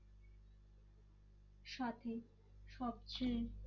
সাথে সবচেয়ে